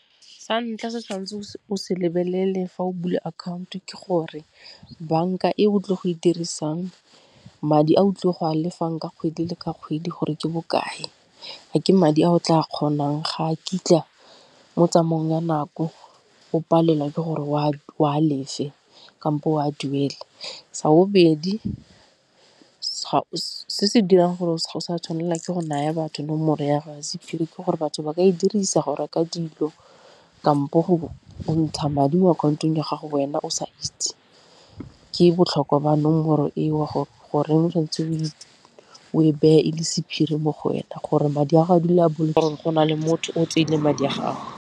Sa ntlha se o tshwanetseng o se lebelele fa o bula akhaoto ke gore banka e o tlo go e dirisang madi a o tlo go a lefang ka kgwedi le ka kgwedi gore ke bokae, a ke madi a o tla kgonang ga a kitla mo tsamaong ya nako o palelwa ke gore o a lefe kampo o a duele. Sa bobedi se se dirang gore o sa tshwanela ke go naya batho nomoro ya sephiri ke gore batho ba ka e dirisa go reka dilo kampo go ntsha madi mo akhaontong ya gago wena o sa itse, ke botlhokwa ba nomoro eo goreng o o e beye e le sephiri mo go wena gore madi a gago a dule a gore go na le motho o tseile madi a gago.